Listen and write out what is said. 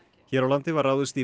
hér á landi var ráðist í